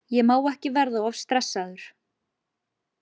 Ég má ekki verða of stressaður.